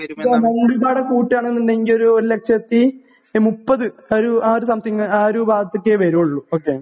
കൂട്ടുകയാണ് എന്നുണ്ടെങ്കിൽ ഒരുലക്ഷത്തി മുപ്പത്, ആ ഒരു സംതിങ്. ആ ഒരു ഭാഗത്തൊക്കെയേ വരികയുള്ളൂ. ഓകെ.